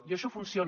i això funciona